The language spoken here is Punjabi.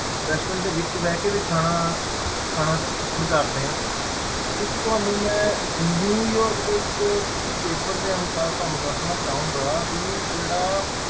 Restaurant ਦੇ ਵਿੱਚ ਬਹਿ ਕੇ ਵੀ ਖਾਣਾ ਖਾਣਾ ਪਸੰਦ ਕਰਦੇ ਆ ਇੱਕ ਤੁਹਾਨੂੰ ਮੈਂ ਨਿਊਯਾਰਕ ਦੇ ਇੱਕ ਕਿਸੇ paper ਦੇ ਅਨੁਸਾਰ ਤੁਹਾਨੂੰ ਦੱਸਣਾ ਚਾਹਾਂਗਾ ਵੀ ਜਿਹੜਾ